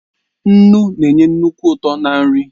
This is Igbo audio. Nnu na-enye nnukwu ụtọ ná nri